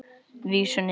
Vísunni er lokið.